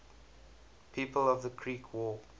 people of the creek war